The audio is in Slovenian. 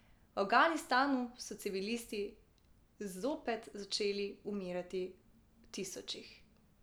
V Afganistanu so civilisti zopet začeli umirati v tisočih.